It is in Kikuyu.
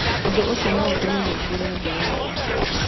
Ũndũ ũcio no ũtũme mũingĩre thĩ yothe.